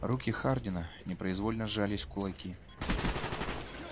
руки хардина непроизвольно сжались в кулаки